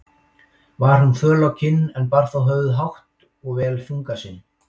Var hún föl á kinn, en bar þó höfuð hátt og vel þunga sinn.